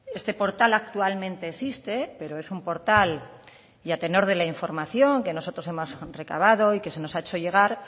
este portal actualmente existe pero es un portal y a tenor de la información que nosotros hemos recabado y que se nos ha hecho llegar